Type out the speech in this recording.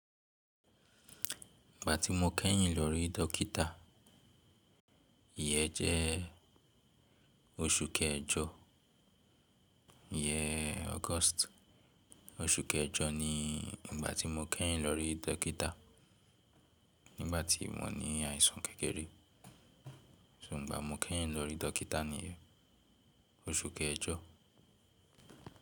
Ìgbà tí mo kẹ́yìn lọ rí dọ́kítà, ìyẹ́n jẹ́ oṣù kẹjọ, ìyẹ́n August. Oṣù kẹjọ ni ìgbà tí mo kẹ́yìn lọ rí dọ́kítà nígbà tí mo ní àìsàn kékeré. So ìgbà mo kẹ́yìn lọ rí dọ́kítà níyen oṣù kẹjọ.